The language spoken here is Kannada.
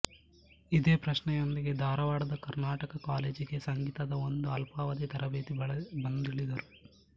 ಇದೇ ಪ್ರಶ್ನೆಯೊಂದಿಗೆ ಧಾರವಾಡದ ಕರ್ನಾಟಕ ಕಾಲೇಜಿಗೆ ಸಂಗೀತದ ಒಂದು ಅಲ್ಪಾವಧಿ ತರಬೇತಿಗಾಗಿ ಬಂದಿಳಿದರು